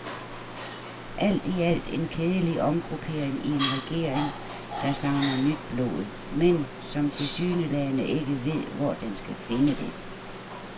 Alt i alt en kedelig omgruppering i en regering, der savner nyt blod, men som tilsyneladende ikke ved, hvor den skal finde det.